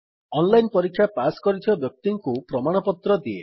online ପରୀକ୍ଷା pass କରିଥିବା ବ୍ୟକ୍ତିଙ୍କୁ ପ୍ରମାଣପତ୍ର ଦିଏ